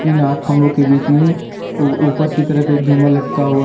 इन आठ खंभों के बीच में उ ऊपर की तरफ एक झूमर लटका हुआ--